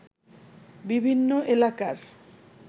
বিভিন্ন এলাকার